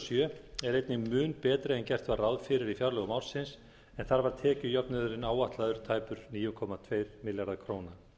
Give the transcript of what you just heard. sjö er einnig mun betri en gert var ráð fyrir í fjárlögum ársins en þar var tekjujöfnuðurinn áætlaður tæpir níu komma tveir milljarðar króna